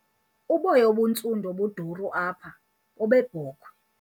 Uboya obuntsundu obuduru apha bobebhokhwe.